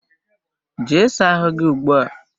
Jee saa ahụ gị ugbu a!